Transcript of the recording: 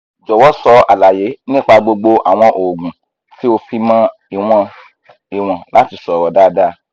jọ̀wọ́ sọ àlàyé nípa gbogbo àwọn oògùn tí ó fi mọ́ ìwọ̀n ìwọ̀n láti sọ̀rọ̀ dáadáa